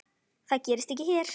Það gerist ekki hér.